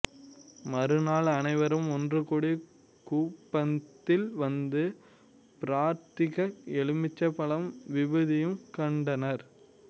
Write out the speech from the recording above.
மறுநாள் அனைவரும் ஒன்று கூடி கூபத்தில் வந்து பிரார்த்திக்க எலுமிச்சம்பழம் விபூதியும் கண்டனர்